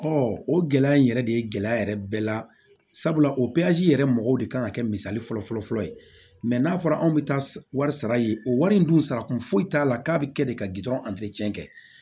Ɔ o gɛlɛya in yɛrɛ de ye gɛlɛya yɛrɛ bɛɛ la sabula o yɛrɛ mɔgɔw de kan ka kɛ misali fɔlɔ fɔlɔ fɔlɔ ye mɛ n'a fɔra anw bɛ taa wari sara yen o wari in dun sara kun foyi t'a la k'a bɛ kɛ de ka gdɔrɔn kɛ